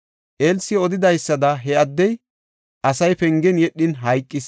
Elsi odidaysada, he addey, asay pengen yedhin hayqis.